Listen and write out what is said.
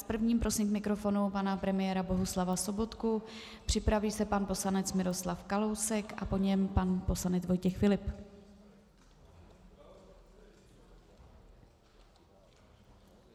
S prvním prosím k mikrofonu pana premiéra Bohuslava Sobotku, připraví se pan poslanec Miroslav Kalousek a po něm pan poslanec Vojtěch Filip.